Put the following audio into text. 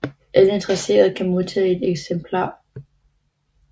Alle interesserede kan modtage et eksemplar